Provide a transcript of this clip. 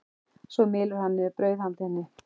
Svo mylur hann niður brauð handa henni.